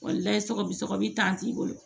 layɛ sɔgɔli t'i bolo